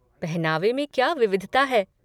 पहनावे में क्या विविधता है!